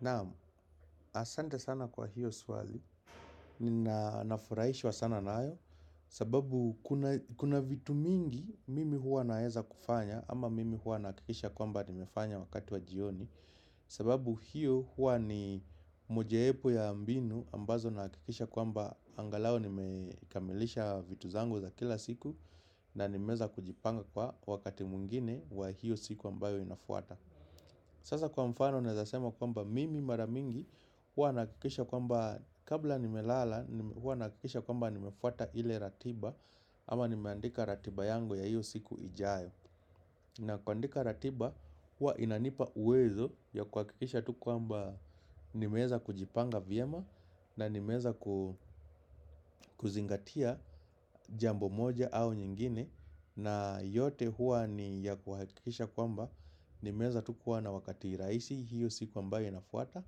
Naamu, asante sana kwa hiyo swazi, ninafuraishwa sana naayo, sababu kuna vitu mingi mimi hua naeza kufanya ama mimi hua nakikisha kwamba nimefanya wakati wa jioni, sababu hiyo hua ni mojaepo ya ambinu ambazo nakikisha kwamba angalao nimekamilisha vitu zangu za kila siku na nimeza kujipanga kwa wakati mwingine wa hiyo siku ambayo inafuata. Sasa kwa mfano nezasema kwamba mimi maramingi hua nakikisha kwamba kabla nimelala hua nakikisha kwamba nimefata ile ratiba ama nimeandika ratiba yangu ya hiyo siku ijayo na kuandika ratiba huwa inanipa uwezo ya kwa kikisha tu kuamba nimeza kujipanga vyema na nimeza kuzingatia jambo moja au nyingine na yote huwa ni ya kwa kikisha kuamba nimeza tu kuwa na wakati raisi hiyo siku ambaye nafuata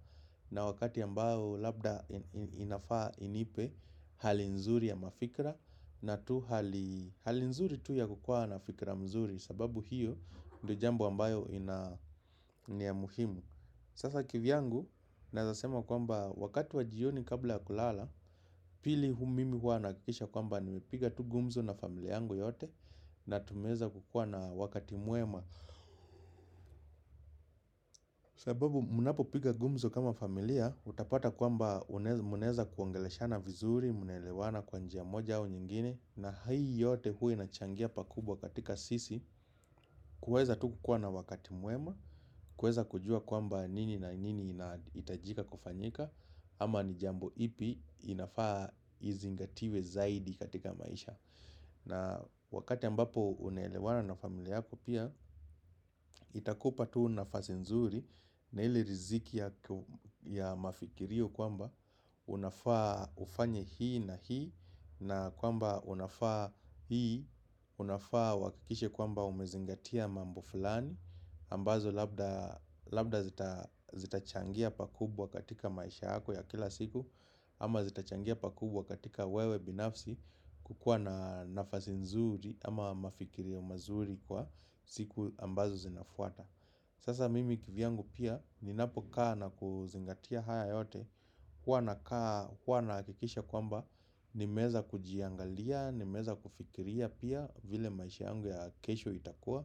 na wakati ambao labda inafaa inipe hali nzuri ya mafikra na tu hali nzuri tu ya kukua na fikra mzuri sababu hiyo ndo jambu ambayo ina muhimu sasa kivyangu nazasema kwamba wakati wa jioni kabla ya kulala pili humimi hua nakikisha kwamba nimepiga tu gumzo na familia yangu yote na tumeza kukua na wakati muema sababu munapo pika gumzo kama familia utapata kwamba muneza kuangelesha na vizuri munelewana kwa njia moja au nyingine na hai yote hui nachangia pakubwa katika sisi kuweza tu kukua na wakati muema kweza kujua kwamba nini na nini itajika kufanyika ama ni jambo ipi inafaa izingatiwe zaidi katika maisha na wakati ambapo unelewana na familia yako pia itakupa tuu nafasenzuri na ili riziki ya mafikirio kwamba unafaa ufanye hii na hii na kwamba unafaa hii unafaa uhakakishe kwamba umezingatia mambo falani ambazo labda zitachangia pakubwa katika maisha hako ya kila siku ama zitachangia pakubwa katika wewe binafsi kukua na nafasi nzuri ama mafikiri ya mazuri kwa siku ambazo zinafuata Sasa mimi kivyangu pia ninapokaa na kuzingatia haya yote Kwa na kikisha kwamba nimeza kujiangalia nimeza kufikiria pia vile maisha yangu ya kesho itakua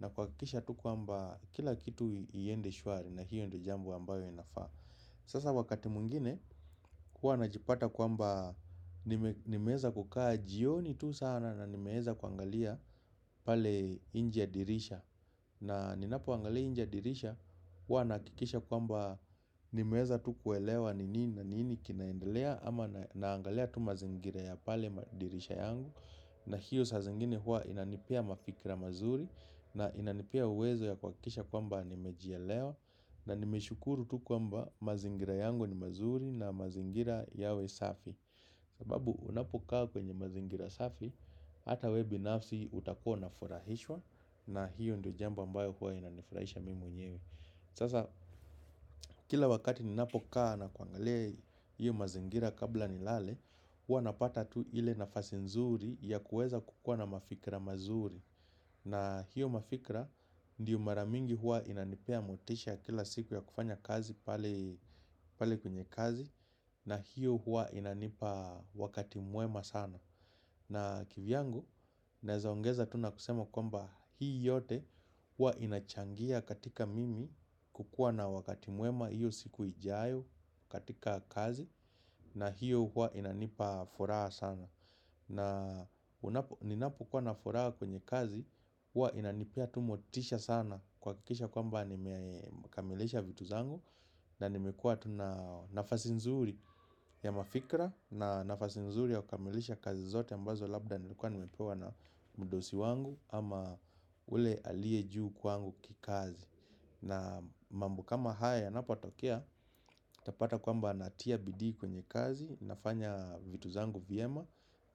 na kwa kisha tu kwa mba kila kitu iende shwari na hiyo ndo jambu ambayo inafaa Sasa wakati mwingine huwa na jipata kwa mba nimeza kukaa jioni tu sana na nimeza kuangalia pale inje ya dirisha na ninapuangalia injia dirisha huwa nakikisha kwamba nimeza tu kuelewa nini na nini kinaendelea ama naangalia tu mazingira ya pale dirisha yangu na hiyo sa zingine huwa inanipia mafikira mazuri na inanipia uwezo ya kwa kisha kwamba nimejielewa na nime shukuru tu kwamba mazingira yangu ni mazuri na mazingira yawe safi sababu unapokaa kwenye mazingira safi, ata we binafsi utakona furahishwa na hiyo ndo jambo ambayo huwa inanifurahisha mimu nyewe Sasa kila wakati ninapokaa na kuangalea hiyo mazingira kabla ni lale huwa napata tu ile nafasi nzuri ya kueza kukua na mafikra mazuri na hiyo mafikra ndiyo maramingi huwa inanipea motisha kila siku ya kufanya kazi pale kunye kazi na hiyo huwa inanipa wakati muema sana na kivyangu, nezaongeza tuna kusema komba hii yote huwa inachangia katika mimi kukua na wakati muema hiyo siku ijayo katika kazi na hiyo huwa inanipa furaha sana na ninapokuwa na furaha kwenye kazi huwa inanipia tumotisha sana Kwa kikisha kwamba nimekamelesha vitu zangu na nimekua na nafasi nzuri ya mafikra na nafasi nzuri ya kukamelesha kazi zote ambazo labda nilikuwa nimepewa na mdosi wangu ama ule alie juu kwangu kikazi na mambu kama haya na patokia Tapata kwamba natia bidii kwenye kazi, nafanya vitu zangu viema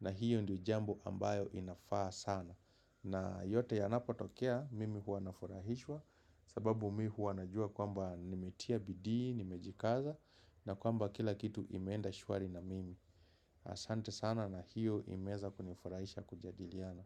na hiyo ndio jambu ambayo inafaa sana na yote yanapotokea, mimi huwanaforahishwa sababu mimi huwa najua kwamba nimetia bidii, nimejikaza na kwamba kila kitu imeenda shwari na mimi Asante sana na hiyo imeza kuniforahisha kujadiliana.